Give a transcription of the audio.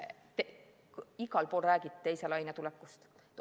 Igal pool räägiti teise laine tulekust.